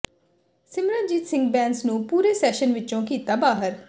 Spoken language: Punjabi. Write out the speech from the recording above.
ਸਿਮਰਜੀਤ ਸਿੰਘ ਬੈਂਸ ਨੂੰ ਪੂਰੇ ਸੈਸ਼ਨ ਵਿਚੋਂ ਕੀਤਾ ਬਾਹਰ